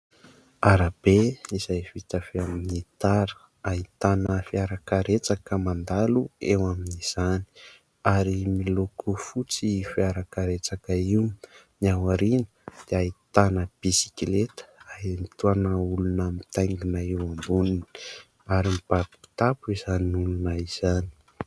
Arabe izay vita avy amin'ny tara ahitana fiarakaretsaka mandalo eo amin'izany ary miloko fotsy fiarakaretsaka io, ny ao aoriana dia ahitana bisikileta ahitana olona mitaingina eo amboniny ary mibaby kitapo izany olona izany.